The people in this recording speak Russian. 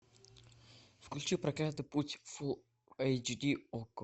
включи проклятый путь фул эйч ди окко